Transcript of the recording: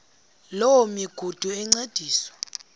loo migudu encediswa